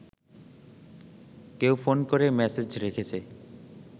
কেউ ফোন করে মেসেজ রেখেছে